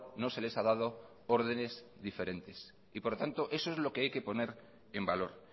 no se les ha dado órdenes diferentes por tanto eso es lo que hay que poner en valor